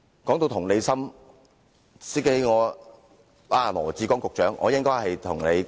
談到同理心，我應該與羅致光局長談談同理心。